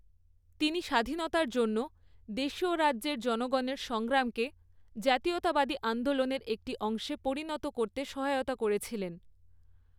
তিনি স্বাধীনতার জন্য দেশীয় রাজ্যের জনগণের সংগ্রামকে জাতীয়তাবাদী আন্দোলনের একটি অংশে পরিণত করতে সহায়তা করেছিলেন।